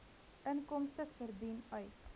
inkomste verdien uit